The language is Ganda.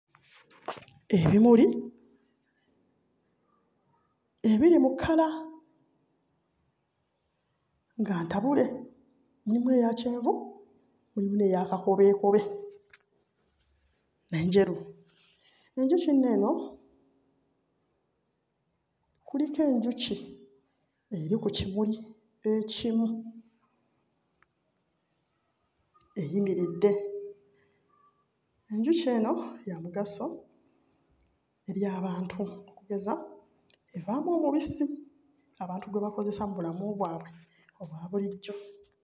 Ebimuli ebiri mu kkala nga ntabule, mulimu eya kyenvu, mulimu eya kakobeekobe n'enjeru. Enjuki nno eno kuliko enjuki eri ku kimuli ekimu eyimiridde. Enjuki eno ya mugaso eri abantu okugeza evaamu omubisi abantu gwe bakozesa mu bulamu bwabwe obwa bulijjo.